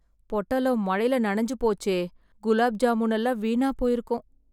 பொட்டலம் மழைல நனைஞ்சு போச்சே. குலாப் ஜாமுனெல்லாம் வீணாப் போயிருக்கும்.